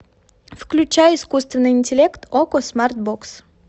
включай искусственный интеллект окко смарт бокс